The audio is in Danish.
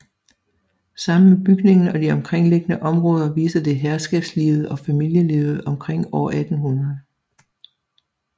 Sammen med bygningen og de omkringliggende områder viser det herskabslivet og familielivet omkring år 1800